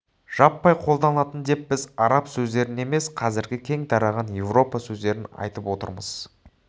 жаппай қолданылатын деп біз араб сөздерін емес қазіргі кең тараған европа сөздерін айтып отырмыз